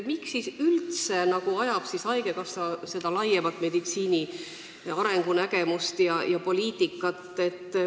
Miks siis üldse ajab haigekassa seda meditsiini laiemat arengunägemust ja poliitikat?